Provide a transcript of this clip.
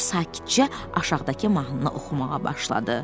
O sakitcə aşağıdakı mahnını oxumağa başladı.